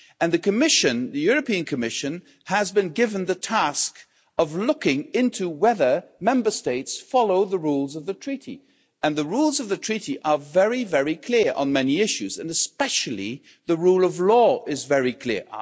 The European Commission has been given the task of looking into whether Member States follow the rules of the Treaty, and the rules of the Treaty are very, very clear on many issues and, especially, the rule of law is very clear.